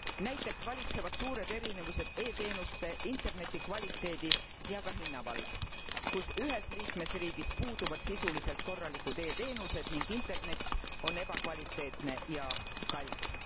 Näiteks valitsevad suured erinevused e teenuste, interneti kvaliteedi ja ka hinna vallas, kus ühes liikmesriigis puuduvad sisuliselt korralikud e teenused ning internet on ebakvaliteetne ja kallis.